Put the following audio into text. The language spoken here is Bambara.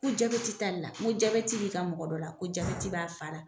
Ko t'ale la, n ko b'i ka mɔgɔ dɔ la ? Ko b'a faa la.